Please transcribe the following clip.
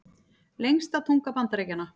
Lengsta tunga Bandaríkjanna